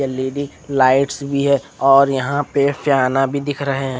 Lady lights भी है और यहाँ पे फियाना भी दिख रहे है।